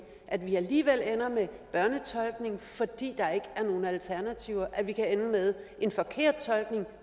at vi alligevel ender med børnetolkning fordi der ikke er nogen alternativer at vi kan ende med en forkert tolkning